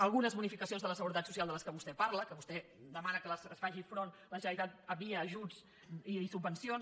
algunes bonificacions de la seguretat social de què vostè parla que vostè demana que hi faci front la generalitat via ajuts i subvencions